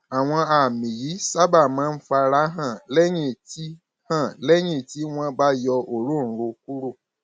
àwọn àmì yìí sábà máa ń fara hàn lẹyìn tí hàn lẹyìn tí wọn bá yọ òróǹro kúrò